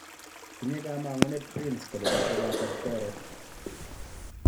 Tinye kamang'unet prince kole biitu katerteret